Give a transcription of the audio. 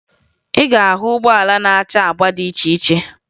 Ị ga-ahụ ụgbọala na-acha agba dị iche iche